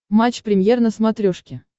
матч премьер на смотрешке